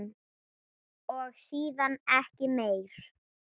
Og síðan ekki meir?